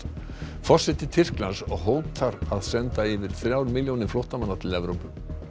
forseti Tyrklands hótar að senda yfir þrjár milljónir flóttamanna til Evrópu